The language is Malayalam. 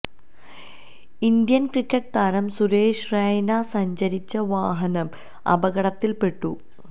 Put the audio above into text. ഇന്ത്യൻ ക്രിക്കറ്റ് താരം സുരേഷ് റെയ്ന സഞ്ചരിച്ച വാഹനം അപകടത്തിൽപെട്ടു